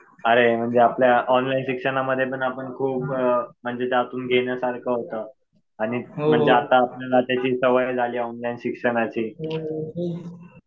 अरे म्हणजे आपल्या ऑनलाईन शिक्षणामध्ये पण आपण खूप म्हणजे त्यातून घेण्यासारखं होतं. आणि म्हणजे आता आपल्याला त्याची सवय झाली ऑनलाईन शिक्षणाची.